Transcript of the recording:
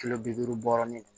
Kilo bi duuru bɔrɛ